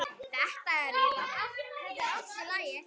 Það er allt í lagi